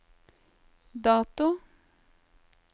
dato